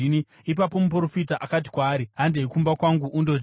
Ipapo muprofita akati kwaari, “Handei kumba kwangu undodya.”